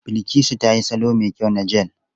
Bilkisu ta yi salo mai kyau na jel.